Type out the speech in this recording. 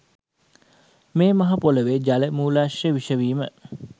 මේ මහ පොළොවේ ජල මූලාශ්‍ර විෂ වීම